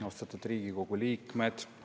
Austatud Riigikogu liikmed!